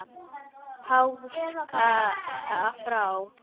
Háska frá.